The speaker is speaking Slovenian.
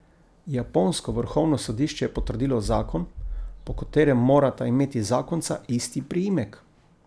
Japonsko vrhovno sodišče je potrdilo zakon, po katerem morata imeti zakonca isti priimek.